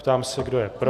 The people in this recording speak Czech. Ptám se, kdo je pro.